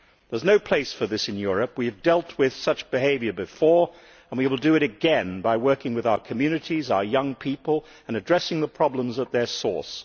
There is no place for this in Europe. We have dealt with such behaviour before and we will do it again by working with our communities and our young people and addressing the problems at their source.